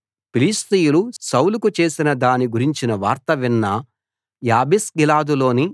ఫిలిష్తీయులు సౌలుకు చేసిన దాని గురించిన వార్త విన్న యాబేష్గిలాదులోని